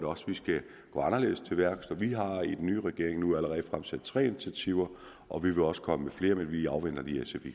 også vi skal gå anderledes til værks vi har i den nye regering nu allerede taget tre initiativer og vi vil også komme med flere men vi afventer lige sfi